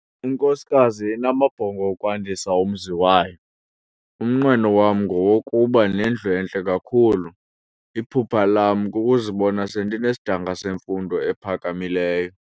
Inkosikazi inamabhongo okwandisa umzi wayo. umnqweno wam ngowokuba nendlu entle kakhulu, iphupha lam kukuzibona sendinesidanga semfundo ephakamileyo